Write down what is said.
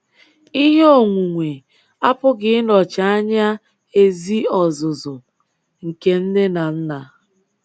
Ihe onwunwe apụghị ịnọchi anya ezi ọzụzụ nke nne na nna.